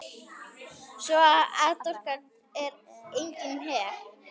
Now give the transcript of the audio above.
Svo atorkan er einnig hér.